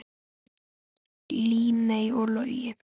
Líney og Logi.